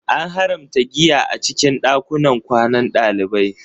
An haramta giya a cikin ɗakunan kwanan ɗalibai